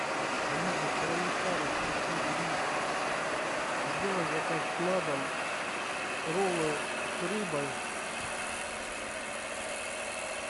алиса староминская ростовский гриль сделай заказ на дом роллы с рыбой